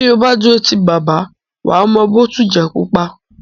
Tí o bá dúró ti bàbá, wà á mọ “ bòtujẹ̀ pupa”.